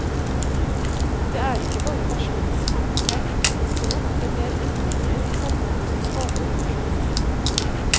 Det er ikke bare personens handicap, men ofte mer endringer i samfunnet som skaper funksjonshemninger.